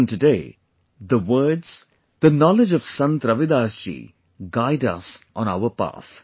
Even today, the words, the knowledge of Sant Ravidas ji guide us on our path